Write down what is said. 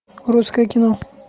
русское кино